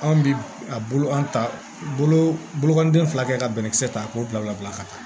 Anw bi a bolo an ta bolokɔni den fila kɛ ka bɛnkisɛ ta k'o bila u bila ka taa